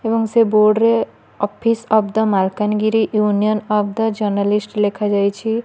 ଏବଂ ସେ ବୋଡ଼ରେ office of the Malkangiri union of the journalist ଲେଖାଯାଇଚି ।